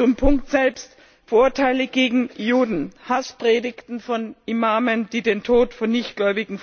Zum Punkt selbst Vorurteile gegen Juden, Hasspredigten von Imamen, die den Tod von Nichtgläubigen